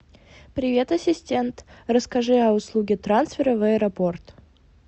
привет ассистент расскажи о услуге трансфера в аэропорт